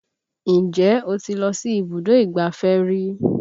Ǹjẹ́ o ti lọ sí ibùdó ìgbáfẹ́ rí?